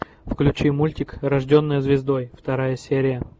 включи мультик рожденная звездой вторая серия